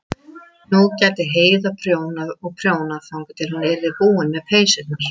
Nú gæti Heiða prjónað og prjónað þangað til hún yrði búin með peysurnar.